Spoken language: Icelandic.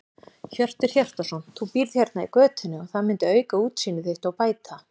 Hjörtur Hjartarson: Þú býrð hérna í götunni og það myndi auka útsýni þitt og bæta?